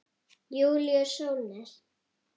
Júlíus Sólnes.